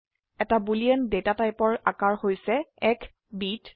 এটা boolean data টাইপৰ আকাৰ হৈছে 1 বিট